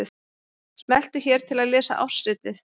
Smelltu hér til að lesa ársritið